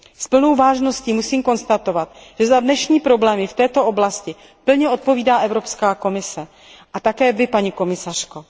S plnou vážností musím konstatovat, že za dnešní problémy v této oblasti plně odpovídá Evropská komise, a také vy, paní komisařko.